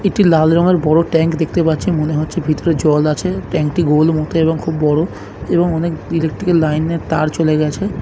একটি লাল রঙের বড়ো ট্যাঙ্ক দেখতে পাচ্ছে মনে হচ্ছে ভিতরে জল আছে ট্যাঙ্ক টি গোল মত এবং খুব বড়ো এবং অনেক ইলেকট্রিক্যাল লাইন এর তার চলে গেছে।